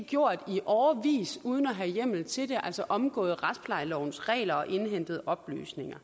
gjort i årevis uden at have hjemmel til det altså omgået retsplejelovens regler og indhentet oplysninger